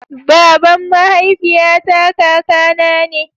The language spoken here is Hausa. baban mahaifiya ta kaka na ne